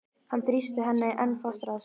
Hann þrýstir henni enn fastar að sér.